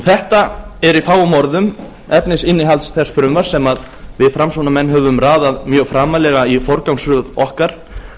þetta er í fáum orðum efnisinnihald þess frumvarps sem við framsóknarmenn höfum raðað mjög framarlega í forgangsröð okkar